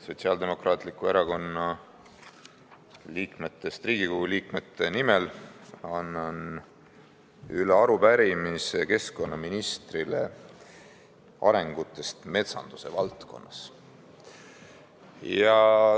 Sotsiaaldemokraatliku Erakonna liikmetest Riigikogu liikmete nimel annan üle arupärimise keskkonnaministrile arengute kohta metsanduse valdkonnas.